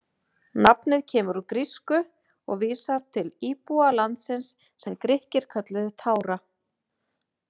Nafnið kemur úr grísku og vísar til íbúa landsins sem Grikkir kölluðu Tára.